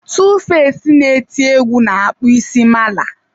2face na-eti egwu na-akpụ isi ya mala.